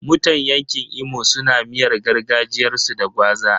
Mutan yanƙin Imo suna miyar gargajiyarsu da gwaza.